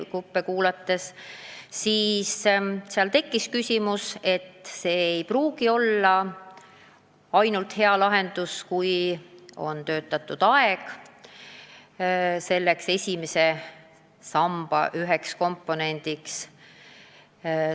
Huvigruppe kuulates tekkis seisukoht, et see ei pruugi olla hea lahendus, kui ainult töötatud aeg on esimese samba üks komponent.